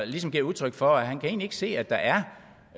ligesom gav udtryk for at han kan se at der er